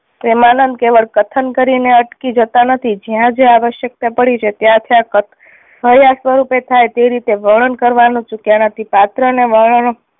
પ્રેમાનંદ કેવળ કથન કરી ને અટકી જતાં નથી જ્યાં જ્યાં આવશ્યકતા પડી છે ત્યાં ત્યાં ક સ્વરૂપે થાય તે રીતે વર્ણન કરવાનું ચૂક્યા નથી. પાત્ર ને